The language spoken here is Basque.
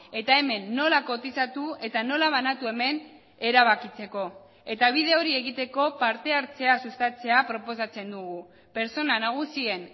eta hemen nola kotizatu eta nola banatu hemen erabakitzeko eta bide hori egiteko parte hartzea sustatzea proposatzen dugu pertsona nagusien